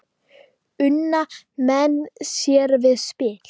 Una menn sér við spil.